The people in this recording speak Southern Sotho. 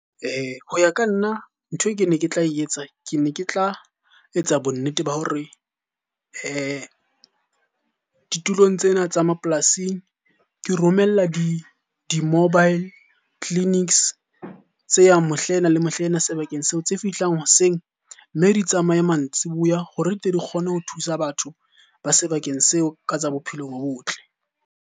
Ho ya ka nna nthwe ke ne ke tla etsa ke ne ke tla etsa bonnete ba hore ditulong tsena tsa mapolasing ke romella di-mobile clinics tse yang mohlaena le mohlaena sebakeng seo. Tse fihlang hoseng, mme di tsamaye mantsiboya hore di tle di kgone ho thusa batho ba sebakeng seo ka tsa bophelo bo botle.